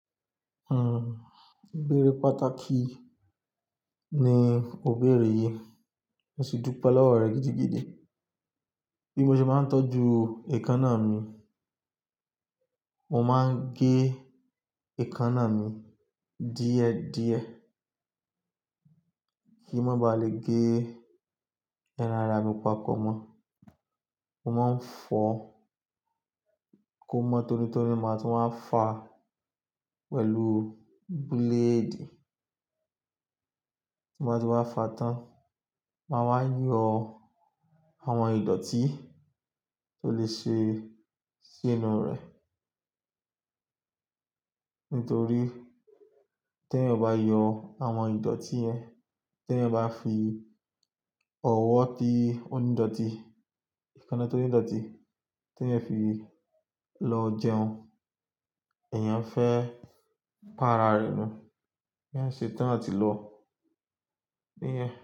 Uhm, ìbéèrè pàtàkì ni òbéèrè yìí. Mo sì dúpẹ́ lọ́wọ́ rẹ gidigidi. Bí mo ṣe máa ń tọ́jú èékánná mi, mo máa ń gé èékánná mi díẹ̀ díẹ̀ kí ó má ba lè gé ẹran ara mi papọ̀ mọ́. Mo máa ń fọ kó má tónitoni, máa tún wa fà pẹ̀lú blade. Tin ba ti wa fà tán, màá wa yọ àwọn ìdọ̀tí tó lè ṣe sí inú rẹ̀. Nítorí tí ẹyan ọ̀ ba yọ àwọn ìdọ̀tí yẹn, tí ẹyan ba fi ọwọ́ ti onídọ̀tí, èékánná tó ní ìdọ̀tí tí eyan fi lọ jẹun, èèyàn fẹ́ pa ara rẹ̀ nù. Eyan ṣe tán àti lò. Níyẹn.